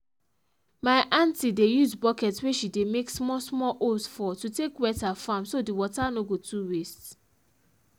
my aunty dey use bucket wey she dey make small small holes for to take wet her farm so the water no go too waste